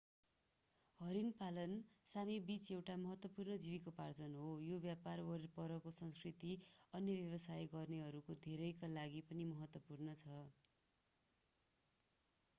हरिण पालन सामी बीच एउटा महत्वपूर्ण जीविकोपार्जन हो र यो व्यापार वरपरको संस्कृति अन्य व्यवसाय गर्नेहरू धेरैका लागि पनि महत्त्वपूर्ण छ